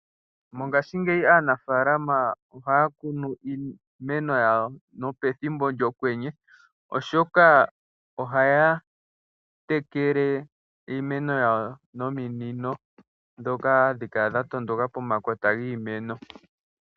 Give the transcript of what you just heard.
Mongashingeyi aanafaalama ohaa kunu iimeno yawo nopethimbo lyOkwenye, oshoka ohaya tekele iimeno yawo nominino ndhoka hadhi kala dha tondoka pomakota giimeno.